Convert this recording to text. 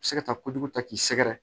Se ka taa kojugu ta k'i sɛgɛrɛ